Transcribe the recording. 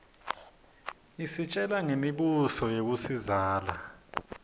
isitjela ngemi buso yakuiszala